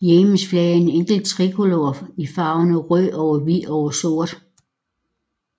Yemens flag er en enkel trikolore i farverne rød over hvid over sort